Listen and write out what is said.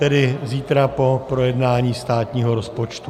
Tedy zítra po projednání státního rozpočtu.